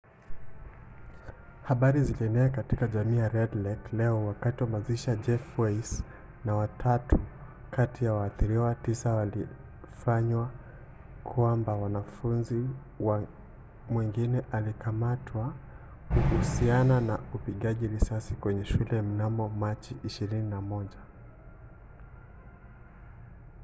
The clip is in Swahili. habari zilienea katika jamii ya red lake leo wakati mazishi ya jeff weisse na watatu kati ya waathiriwa tisa yalifanywa kwamba mwanafunzi mwingine alikamatwa kuhusiana na upigaji risasi kwenye shule mnamo 21 machi